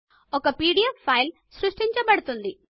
ఒక PDF file సృష్టించబడుతుంది